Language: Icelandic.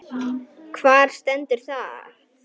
Hvar stendur það?